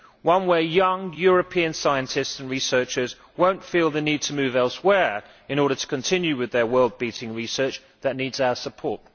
one where young European scientists and researchers will not feel the need to move elsewhere in order to continue with their world beating research that needs our support.